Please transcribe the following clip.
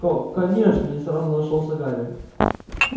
ко конечно не сразу нашёлся гарри